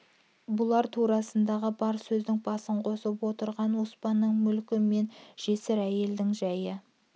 бұлар турасындағы бар сөздің басын қосып отырған оспанның мүлкі мен жесір әйелдерінің жайы